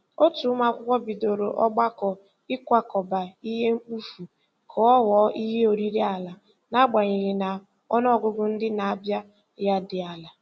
Otu ụmụakwụkwọ bidoro ọgbakọ ikwakọba ihe mkpofu ka ọ ghọọ ihe oriri ala, n'agbanyeghị na ọnụọgụgụ ndị na-abịa ya dị ala.